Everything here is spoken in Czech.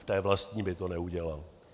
V té vlastní by to neudělal.